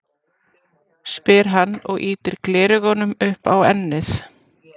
spyr hann og ýtir gleraugunum upp á ennið.